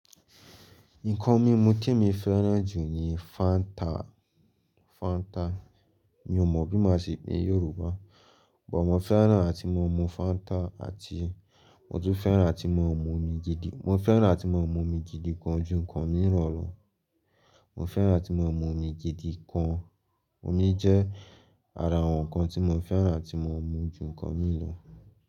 Nkan mímu témi fẹ́ràn jù ni fanta. Mi ò mọ bí màá ṣe pè ní Yorùbá but mo fẹ́ràn àti máa mú fanta mo tún fẹ́ràn àti máa mu omi. Mo fẹ́ràn àti máa mú omi jìdì gan jù nǹkan mìíràn lọ. Mo fẹ́ràn àti ma mu omi gidi gan, omi jẹ́ ara àwọn nkan tí mo fẹ́ràn àti máa mu jù nkan mìí lọ.